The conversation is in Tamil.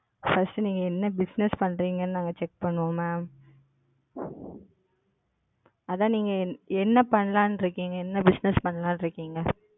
First நீங்க என்ன Bussiness பண்றீங்கனு நாங்க Check பண்ணுவோம் Ma'am. அதான் நீங்க என்ன பண்ணலான்னு இருக்கீங்க? என்ன Bussiness பண்ணலாம்னு இருக்கீங்க?